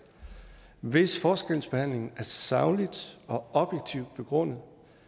hvis forskelsbehandling er sagligt og objektivt begrundet